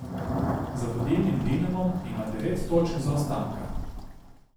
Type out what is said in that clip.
Za vodilnim Dinamom ima devet točk zaostanka.